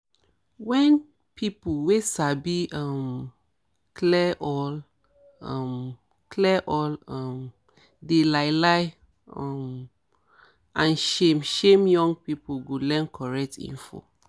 wen peolpe wey sabi um clear all um clear all um di lie lie um and shame shame young people go learn correct info